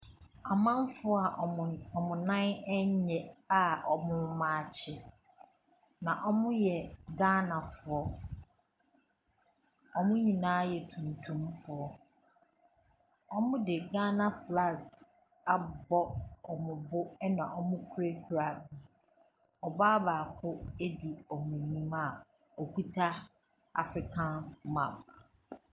Amanfoɔ a wɔn wɔn nan nyɛ a wɔremaakye. Na wɔyɛ Ghanafoɔ. Wɔn nyinaa yɛ tuntumfoɔ. Wɔde Ghana flag abɔ wɔn bo na wɔkurakura bi. Ɔbaa baako di wɔn anim a ɔkuta bi African map.